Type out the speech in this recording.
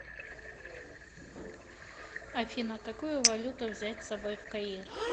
афина какую валюту взять с собой в каир